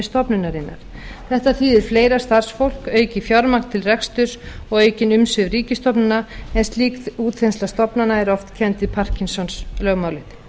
stofnunarinnar þetta þýðir fleira starfsfólk aukið fjármagn til reksturs og aukin umsvif ríkisstofnana en slík útþensla stofnana er oft kennd við parkinson lögmálið